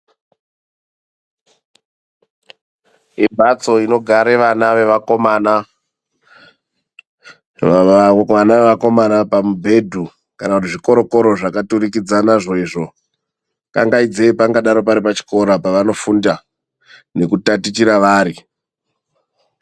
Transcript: Imhatso inogare vana vevakomana, pamubhedhu kana kuti zvikoro koro zvakaturikidzana izvo izvo. Kangaidzei pangadaro pari pachikora pavanofunda nekutatichira vari.